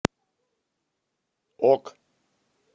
ок